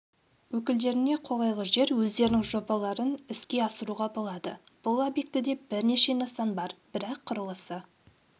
өкілдеріне қолайлы жер өздерінің жобаларын іске асыруға болады бұл объектіде бірнеше нысан бар бірақ құрылысы